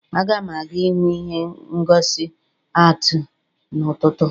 Aga m aga ihụ ihe ngosi atii n'ụtụtụ